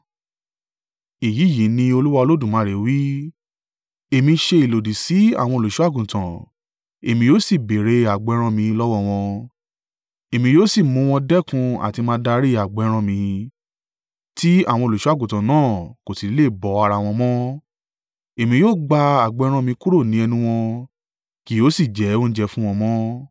Èyí yìí ni Olúwa Olódùmarè wí: Èmi ṣe ìlòdì sí àwọn Olùṣọ́-àgùntàn, èmi yóò sì béèrè agbo ẹran mi lọ́wọ́ wọn. Èmi yóò sì mú wọn dẹ́kun àti máa darí agbo ẹran mi, tí àwọn olùṣọ́-àgùntàn náà kò sì ní lè bọ́ ara wọn mọ́. Èmi yóò gba agbo ẹran mi kúrò ni ẹnu wọn, kì yóò sì jẹ́ oúnjẹ fún wọn mọ́.